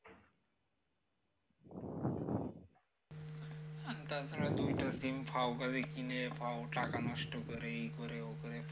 তাছাড়া দুইটা sim ফাওকা দিয়ে কিনে ফাও টাকা নষ্ট করে ইকরে ও করে